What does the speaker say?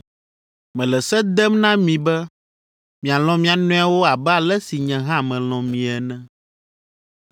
Mele se dem na mi be mialɔ̃ mia nɔewo abe ale si nye hã melɔ̃ mie ene.